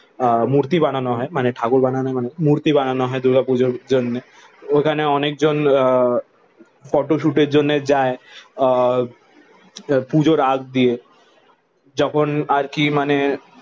আহ মূর্তি বানানো হয় মানে ঠাকুর বানানো মানে মূর্তি বানানো হয় দুর্গাপূজার জন্যে। ওখানে অনেকজন আহ ফটোশুটের জন্য যায় আহ পুজোর আগ দিয়ে যখন আর কি মানে